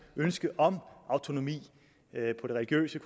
ønske om autonomi på det religiøse